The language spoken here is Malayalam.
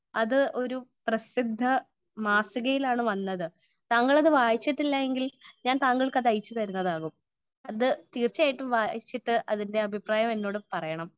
സ്പീക്കർ 1 അത് ഒരു പ്രസിദ്ധ മാസികയിലാണ് വന്നത് . താങ്കൾ അത് വായിച്ചിട്ടില്ല എങ്കിൽ ഞാൻ താങ്കൾക്ക് അത് അയച്ചു തരുന്നതാകും . അത് തീർച്ചയായിട്ടും വായിച്ചിട്ട് അതിന്റെ എന്നോട് അഭിപ്രായം പറയണം .